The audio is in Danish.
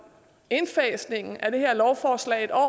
indfasningen af det her lovforslag en år